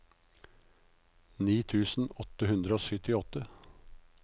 ni tusen åtte hundre og syttiåtte